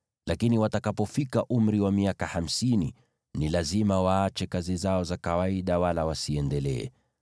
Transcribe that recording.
lakini watakapofika umri wa miaka hamsini, ni lazima waache kazi zao za kawaida wala wasiendelee.